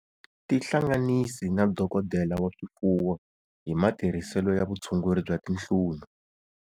Tihlanganisi na dokodela wa swifuwo hi matirhiselo ya vutshunguri bya tinhlunu.